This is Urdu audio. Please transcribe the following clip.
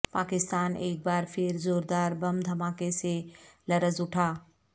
پاکستان ایک بار پھر زوردار بم دھماکے سے لرز اٹھا